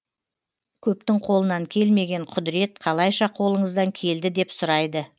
көптің қолынан келмеген құдірет қалайша қолыңыздан келді деп сұрайды